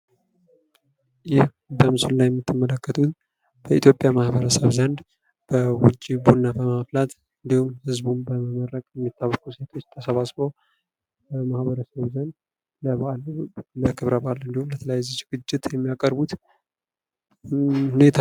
ይህ በምስሉ ላይ የምትመለከቱት በኢትዮጵያ ማህበረሰብ ዘንድ ውጪ ቡና በማፍላት እንዲሁም ህዝቡን በመመረቅ የሚታወቁ ሰዎች ተሰባስበው በማህበረሰቡ ዘንድ በበአል ጊዜ ወይም ሰዎችን ለማስታረቅ የሚደረግ ዝግጅት ነው።